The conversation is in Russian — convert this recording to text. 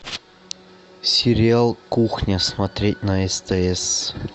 сериал кухня смотреть на стс